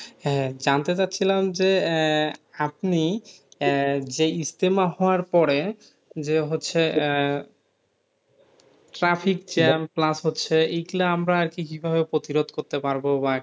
হ্যাঁ যানতে চাচ্ছিলাম যে আহ আপনি আহ যেই ইজতেমা হওয়ার পরে যে হচ্ছে আহ traffic jam plus হচ্ছে এইগুলা আমরা আরকি কি ভাবে প্রতিরোধ করতে পারব? বা,